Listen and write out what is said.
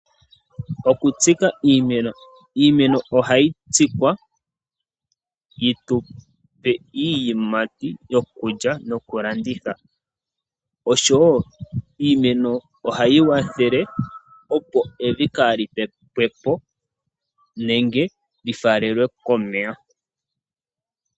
Okutsika iimeno, iimeno ohayi tsikwa yitupe iiyimati yo kulya noku landitha osho wo iimeno ohayi kwathele opo evi kali pepepwo nenge lyi falelwe ko omeya.